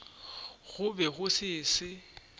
go be go se se